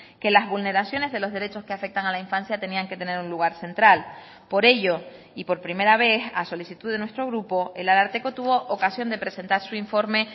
que las vulneraciones de los derechos que afectan a la infancia tenían que tener un lugar central por ello y por primera vez a solicitud de nuestro grupo el ararteko tuvo ocasión de presentar su informe